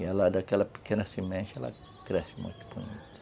E ela, daquela pequena semente, ela cresce.